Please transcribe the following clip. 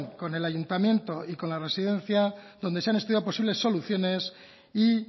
con el ayuntamiento y con la residencia donde se han estudiado posibles soluciones y